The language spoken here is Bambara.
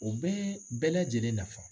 U bɛ bɛɛ lajɛlen nafa.